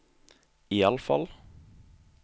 iallfall